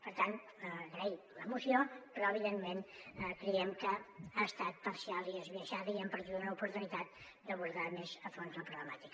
per tant agrair la moció però evidentment creiem que ha estat parcial i esbiaixada i hem perdut una oportunitat d’abordar més a fons la problemàtica